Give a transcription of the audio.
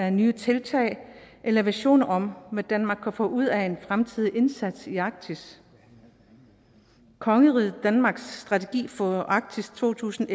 af nye tiltag eller visioner om hvad danmark kan få ud af en fremtidig indsats i arktis kongeriget danmarks strategi for arktis to tusind